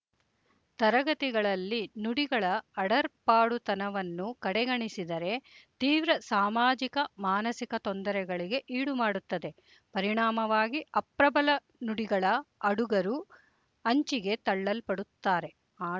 ತರಗತಿಗಳಲ್ಲಿ ನುಡಿಗಳ ಅಡರ್ಪಾಡುತನವನ್ನು ಕಡೆಗಣಿಸಿದರೆ ತೀವ್ರ ಸಾಮಾಜಿಕಮಾನಸಿಕ ತೊಂದರೆಗಳಿಗೆ ಈಡುಮಾಡುತ್ತದೆ ಪರಿಣಾಮವಾಗಿ ಅಪ್ರಬಲ ನುಡಿಗಳ ಆಡುಗರು ಅಂಚಿಗೆ ತಳ್ಳಲ್ಪಡುತ್ತಾರೆ ಆ